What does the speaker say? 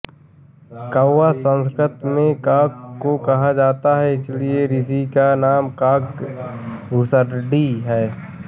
कौवा संस्कृत में काक को कहा जाता है इसलिए ऋषि का नाम काक भुसंडी है